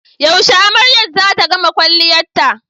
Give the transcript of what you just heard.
Yaushe amaryar zata gama kwalliyarta?